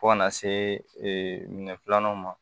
Fo kana see minɛ filanan ma